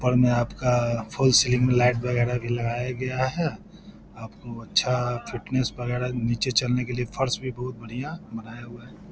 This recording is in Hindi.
ऊपर में आपका फुल स्लिम लाइट वगेरा भी लगाया गया है आपको अच्छा फिटनेस वगेरा निचे चलने के लिए फर्श भी बोहोत बढ़िया बनाया हुआ है|